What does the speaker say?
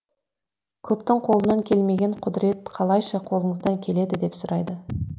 көптің қолынан келмеген құдірет қалайша қолыңыздан келеді деп сұрайды